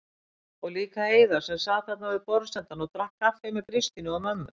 Og líka Heiða sem sat þarna við borðsendann og drakk kaffi með Kristínu og mömmu.